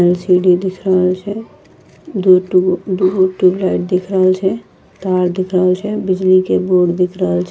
एल.सी.डी. दिख रहल छे दूठो दूगो ट्यूबलाइट दिख रहल छे तार दिख रहल छे बिजली के बोर्ड दिख रहल छे।